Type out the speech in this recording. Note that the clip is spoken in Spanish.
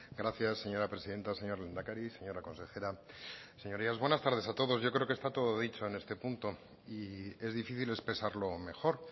gracias señora presidenta señor lehendakari señora consejera señorías buenas tardes a todos yo creo que está todo dicho en este punto y es difícil expresarlo mejor